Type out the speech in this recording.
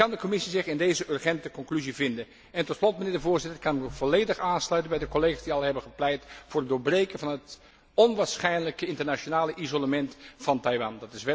Kan de Commissie zich in deze urgente conclusie vinden? Tot slot, mijnheer de Voorzitter, kan ik mij volledig aansluiten bij de collega's die al hebben gepleit voor het doorbreken van het onwaarschijnlijke internationale isolement van Taiwan.